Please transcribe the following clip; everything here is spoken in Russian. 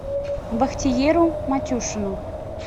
бахтиеру матюшину